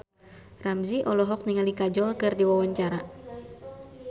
Ramzy olohok ningali Kajol keur diwawancara